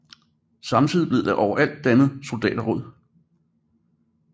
Samtidigt blev der overalt dannet soldaterråd